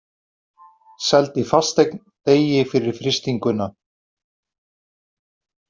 Seldi fasteign degi fyrir frystinguna